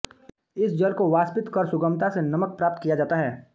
इस जल को वाष्पित कर सुगमता से नमक प्राप्त किया जाता है